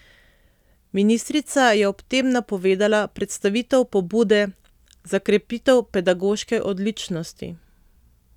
Ministrica je ob tem napovedala predstavitev pobude za krepitev pedagoške odličnosti.